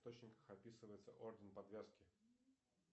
источниках описывается орден подвязки